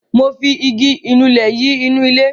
Mo fi igi ìnulẹ̀ yìí nu ilẹ̀.